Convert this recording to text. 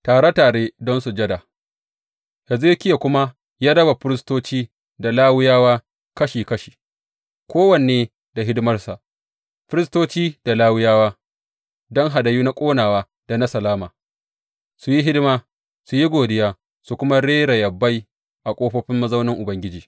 Tare tare don sujada Hezekiya kuma ya raba firistoci da Lawiyawa kashi kashi, kowanne da hidimarsa, firistoci da Lawiyawa, don hadayu na ƙonawa da na salama, su yi hidima, su yi godiya, su kuma rera yabai a ƙofofin mazaunin Ubangiji.